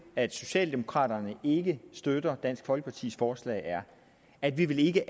at socialdemokraterne ikke støtter dansk folkepartis forslag er at vi vi ikke